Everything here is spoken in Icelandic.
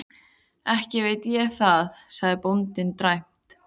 Ekki veit ég það, sagði bóndinn dræmt.